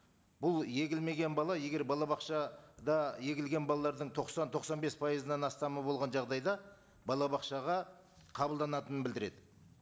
бұл егілмеген бала егер балабақшада егілген балалардың тоқсан тоқсан бес пайызынан астам болған жағдайда балабақшаға қабылданатынын білдіреді